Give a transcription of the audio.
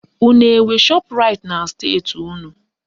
Unu enwe Shọpraịt na steeti unu?